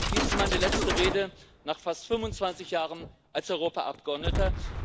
Dies ist meine letzte Rede nach fast 25 Jahren als Europaabgeordneter.